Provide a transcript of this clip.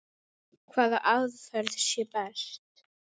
Hvaða aðferð sé best.